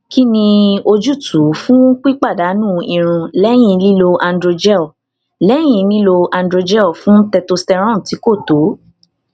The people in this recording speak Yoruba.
kí ni ojútùú fún pípadànù irun lẹyìn lílo androgel lẹyìn lílo androgel fún testosterone tí kò tó